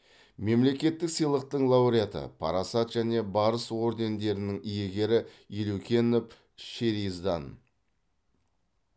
мемлекеттік сыйлықтың лауреаты парасат және барыс ордендерінің иегері елеукенов шериздан